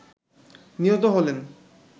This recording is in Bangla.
নিহত হলেন